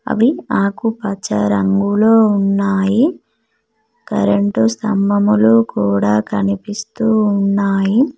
అవి ఆకు పచ్చ రంగులో ఉన్నాయి కరెంటు స్థాభములు కూడా కనిపిస్తూ ఉన్నాయి.